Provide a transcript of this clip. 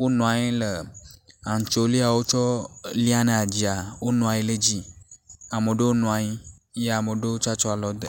Wonɔ anyi le antsolio tsɔ liana dzia, wonɔanyi le dzi. Amo ɖewo nɔanyi eye amo ɖewo tsa tsɔ alɔ de.